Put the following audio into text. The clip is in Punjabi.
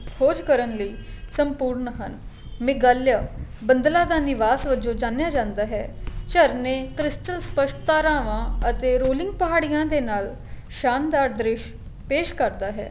ਖ਼ੋਜ ਕਰਨ ਲਈ ਸੰਪੂਰਨ ਹਨ ਮੇਗਾਲਿਆ ਬੰਦਲਾ ਦਾ ਨਿਵਾਸ ਵਲੋ ਜਾਣਿਆ ਜਾਂਦਾ ਹੈ ਝਰਨੇ crystal ਸਪਸਟ ਧਰਾਵਾ ਅਤੇ rolling ਪਹਾੜੀਆਂ ਦੇ ਨਾਲ ਸ਼ਾਨਦਾਰ ਦ੍ਰਿਸ਼ ਪੇਸ਼ ਕਰਦਾ ਹੈ